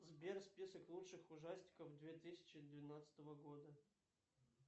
сбер список лучших ужастиков две тысячи двенадцатого года